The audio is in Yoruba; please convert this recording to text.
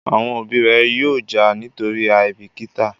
Àwọn òbí ré yóò já nítorí àìbìkítà